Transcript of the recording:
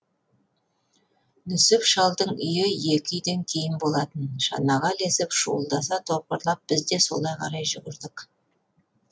нүсіп шалдың үйі екі үйден кейін болатын шанаға ілесіп шуылдаса топырлап біз де солай қарай жүрдік